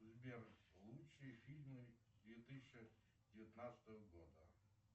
сбер лучшие фильмы две тысячи девятнадцатого года